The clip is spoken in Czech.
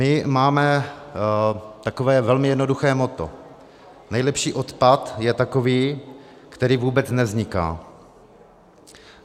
My máme takové velmi jednoduché moto - nejlepší odpad je takový, který vůbec nevzniká.